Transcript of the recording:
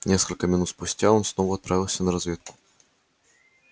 несколько минут спустя он снова отправился на разведку